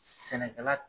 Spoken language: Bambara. Sɛnɛkɛla